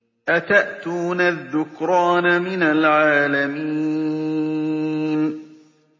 أَتَأْتُونَ الذُّكْرَانَ مِنَ الْعَالَمِينَ